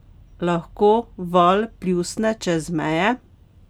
Lahko val pljusne čez meje?